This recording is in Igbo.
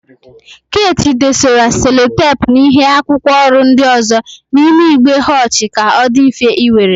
Keeti dosara selotepu na ịhe akwụkwọ ọrụ ndị ọzọ n'ime igbe họchi ka ọ dị mfe iwere.